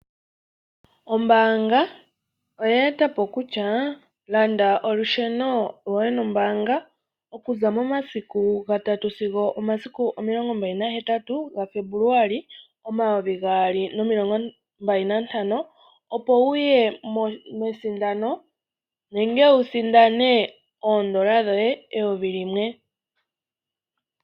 Ombaanga oye etapo kutya, landa olusheno lwoye nombaanga okuza momasiku ga tatu sigo omasiku omilongo mbali na hetatu ga February omayuvi gaali nomilongo mbali nantano opo wu sindane oodola dhoye eyuvi limwe.